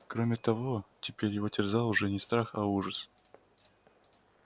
кроме того теперь его терзал уже не страх а ужас